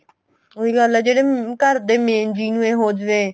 ਉਹੀ ਗੱਲ ਏ ਜਿਹੜੇ ਘਰ ਦੇ main ਜੀ ਨੂੰ ਈ ਹੋ ਜਾਵੇ